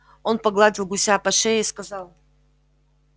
он погладил гуся по шее и сказал